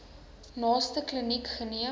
naaste kliniek geneem